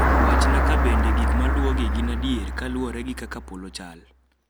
wachna kabende gik maluwogi gin adier kaluwore gikaka polo chal